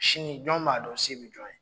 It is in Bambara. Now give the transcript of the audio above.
Sini jɔn b'a dɔn se bɛ jɔn ye?